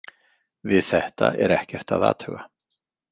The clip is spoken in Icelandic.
Við þetta er ekkert að athuga.